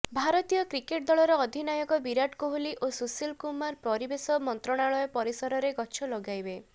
ଭାରତୀୟ କ୍ରିକେଟ୍ ଦଳର ଅଧିନାୟକ ବିରାଟ କୋହଲି ଓ ସୁଶୀଲ କୁମାର ପରିବେଶ ମନ୍ତ୍ରଣାଳୟ ପରିସରରେ ଗଛ ଲଗାଇବେ